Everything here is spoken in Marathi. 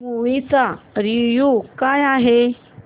मूवी चा रिव्हयू काय आहे